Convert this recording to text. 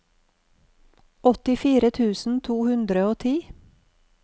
åttifire tusen to hundre og ti